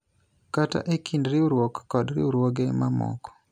kata e kind riwruok kod riwruoge mamoko